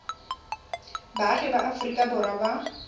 baagi ba aforika borwa ba